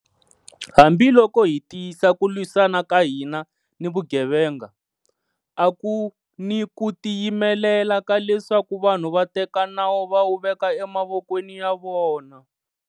Hambi loko hi tiyisa ku lwisana ka hina ni vugevenga, a ku ni ku tiyimelela ka leswaku vanhu va teka nawu va wu veka emavokweni ya vona.